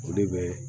O de bɛ